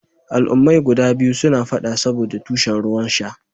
Al'ummai guda biyun suna fada saboɗa tushen ruwan sha.